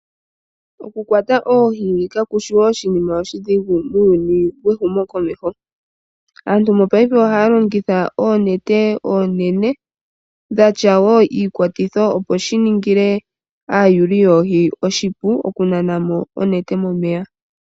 Oku kwata oohi ka kushi oshinima oshidhigu muuyuni wehumo komeho, aantu mopaife ohaya longitha oonete oonene dhatya wo iikwatitho opo shiningile aayuli hoohi oshipu oku nana mo onete momeya.